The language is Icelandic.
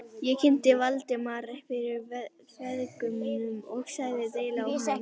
Ég kynnti Valdimar fyrir feðgunum og sagði deili á honum.